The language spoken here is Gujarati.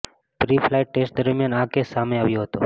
પ્રી ફ્લાઈટ ટેસ્ટ દરમિયાન આ કેસ સામે આવ્યો હતો